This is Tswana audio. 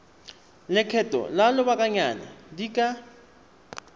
lekgetho la lobakanyana di ka